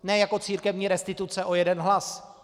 Ne jako církevní restituce o jeden hlas.